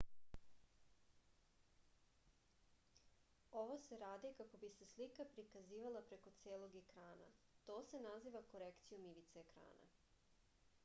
ovo se radi kako bi se slika prikazivala preko celog ekrana to se naziva korekcijom ivice ekrana